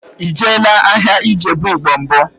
Ị jeela ahịa Ijebu igbo mbụ?